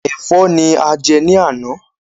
Ẹ̀fọ́ ni a jẹ ní àná.